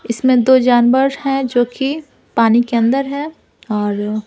इसमें दो जानवर हैं जो कि पानी के अंदर है और--